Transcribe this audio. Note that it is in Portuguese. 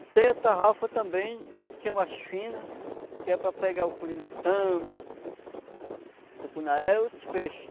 E tem a tarrafa também, que é mais fina, que é para pegar o curimatã, tucunaré e outros peixes.